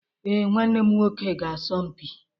Ee, nwanne m nwoke ga-asọ mpi